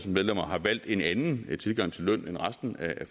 medlemmer har valgt en anden tilgang til løn end resten af